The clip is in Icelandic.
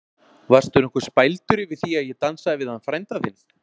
Varstu nokkuð spældur yfir því að ég dansaði við hann frænda þinn?